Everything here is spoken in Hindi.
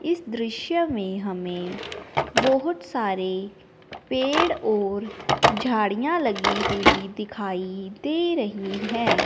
इस दृश्य में हमें बहोत सारे पेड़ और झाड़ियां लगी हुई दिखाई दे रही हैं।